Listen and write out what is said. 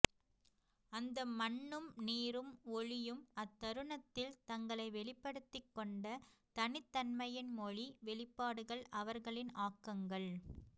அந்த மண்ணும் நீரும் ஒளியும் அத்தருணத்தில் தங்களை வெளிப்படுத்திக் கொண்ட தனித்தன்மையின் மொழி வெளிப்பாடுகள் அவர்களின் ஆக்கங்கள்